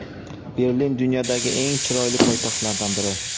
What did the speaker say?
Berlin – dunyodagi eng chiroyli poytaxtlardan biri.